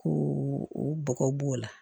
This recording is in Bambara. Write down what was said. Ko o bɔgɔ b'o la